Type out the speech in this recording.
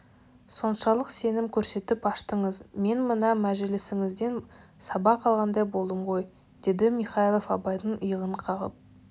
соншалық сенім көрсетіп аштыңыз мен мына мәжілісіңізден сабақ алғандай болдым ғой деді михайлов абайдың иығынан қағып